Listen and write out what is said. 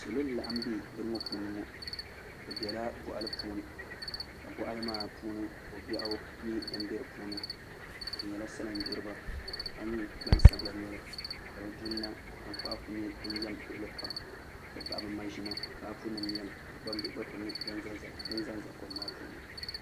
Salo n laɣam bɛ bini ŋo puuni ŋo bi biɛla boɣali puuni ka boɣali maa puuni ko biɛɣu nyɛ din biɛni bi nyɛla salin gbiriba ka nyɛ gbansabila noli ka bi duli na tankpaɣu ku nyɛ din yɛm luɣuli kam n ti pahi bi maʒina paapu nim n nyɛli ka gbambihi gba ku nyɛ din ʒɛnʒɛ kom maa puuni